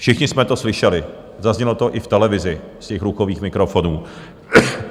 Všichni jsme to slyšeli, zaznělo to i v televizi z těch ruchových mikrofonů.